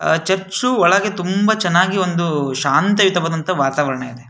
ಅಹ್ church ಒಳಗೆ ತುಂಬಾ ಚೆನ್ನಾಗಿ ಒಂದು ಶಾಂತಯುತವಾದ ವಾತಾವರಣವಿದೆ-